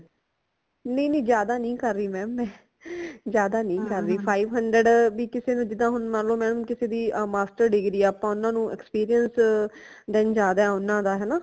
ਨੀ ਨੀ ਜ਼ਿਆਦਾ ਨੀ ਕਰ ਰੀ mam ਮੈਂ ਜਾਂਦਾ ਨਹੀਂ ਕਰਰਾਹੀ ਹਮ five hundred ਬੀ ਕਿਸੇ ਨੂ ਜਿਦਾ ਹੁਣ ਮਨ ਲੋ mam ਕਿਸੇ ਦੀ master degree ਹੈ ਆਪਾ ਊਨਾ ਨੂ experience ਜ਼ਿਆਦਾ ਹੈ ਊਨਾ ਦਾ ਹਨਾ